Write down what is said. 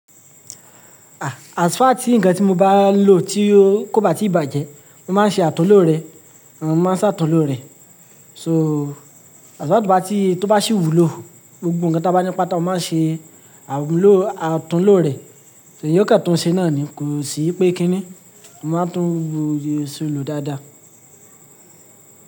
Ah, as far tí ǹkan tí mo bá lò tí ó kò bá tíì bàjẹ́, mo máa ń ṣe àtúnlò rẹ̀, nn máa ń ṣàtúnlo rẹ̀. So, as far to bá tí tó bá ṣì wúlò, gbogbo ǹkan tí a bá ní páta, o máa ń ṣe àmúlo, àtúnlo rẹ̀. Èèyàn o kan tùn ṣe náà ni, kò sí pé kí ni? Mo máa ń tún ohun ìrìnṣẹ̀ lò dáadáa.